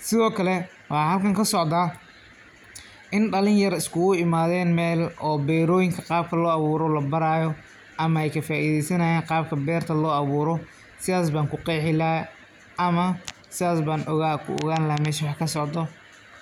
Sidhokale waxa xalkan kasocda in dalinyar iskulaimaden mel oo betoyinka qaabka loawuro labarayo, ama ay kafaideysanay qaabka berta loawuro, sidhas baan kuqexi laxay ama sidhas ban kuogan laxay waxa mesha kasocdo.